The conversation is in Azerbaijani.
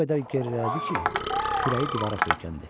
O qədər gerilədi ki, kürəyi divara söykəndi.